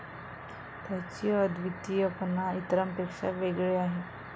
त्याची अद्वितीयपणा इतरांपेक्षा वेगळे आहे.